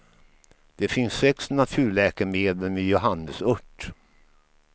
Det finns sex naturläkemedel med johannesört.